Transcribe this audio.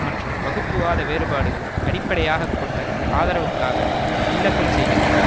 மற்றும் வகுப்புவாத வேறுபாடுகள் அடிப்படையாக கொண்ட ஆதரவுக்காக விண்ணப்பம் செய்கின்றன